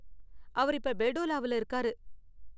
அவரு இப்ப பெல்டோலாவுல இருக்காரு.